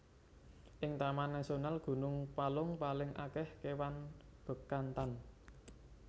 Ing Taman Nasional Gunung Palung paling akeh kewan Bekantan